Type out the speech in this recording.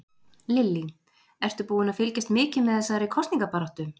Lillý: Ertu búinn að fylgjast mikið með þessari kosningabaráttu?